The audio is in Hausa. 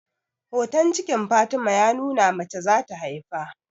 Hoton cikin Fatima ya nuna mace za ta haifa